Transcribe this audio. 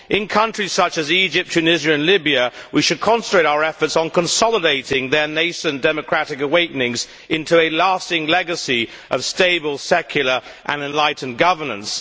In countries such as Egypt, Tunisia and Libya, we should concentrate our efforts on consolidating nascent democratic awakenings into a lasting legacy of stable, secular and enlightened governance.